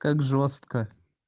как жёстко